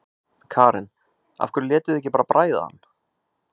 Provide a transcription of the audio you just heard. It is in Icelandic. Karen: Af hverju létuð þið ekki bara bræða hann?